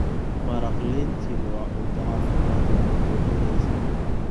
Maraq lentil waa cunto caafimaad leh oo buuxinaysa.